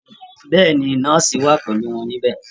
Bẹ́ẹ̀ ni, nọ́ọ̀sì wà pẹ̀lú wọn níbẹ̀